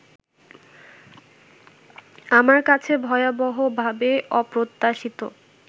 আমার কাছে ভয়াবহভাবে অপ্রত্যাশিত